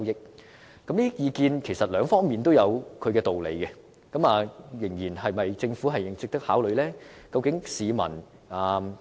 就着這些意見，其實兩方面也有道理，是否值得政府考慮呢？